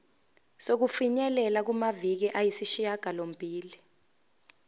sokufinyelela kumaviki ayisishagalombili